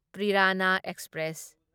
ꯄ꯭ꯔꯤꯔꯥꯅꯥ express